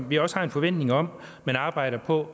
vi også har en forventning om man arbejder på